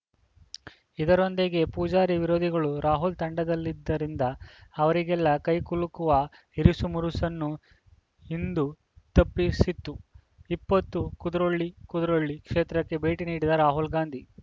ಇದರೊಂದಿಗೆ ಪೂಜಾರಿ ವಿರೋಧಿಗಳೂ ರಾಹುಲ್‌ ತಂಡದಲ್ಲಿದ್ದರಿಂದ ಅವರಿಗೆಲ್ಲ ಕೈಕುಲುಕುವ ಇರಿಸುಮುರುಸನ್ನೂ ಇಂದು ತಪ್ಪಿಸಿತ್ತು ಇಪ್ಪತ್ತು ಕುದ್ರೋಳಿ ಕುದ್ರೋಳಿ ಕ್ಷೇತ್ರಕ್ಕೆ ಭೇಟಿ ನೀಡಿದ ರಾಹುಲ್‌ ಗಾಂಧಿ